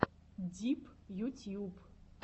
дип ютьюб